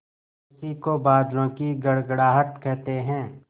उसी को बादलों की गड़गड़ाहट कहते हैं